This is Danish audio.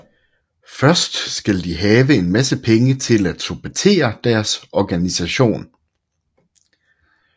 Først skal de have en masse penge til at supportere deres organisation